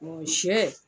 sɛ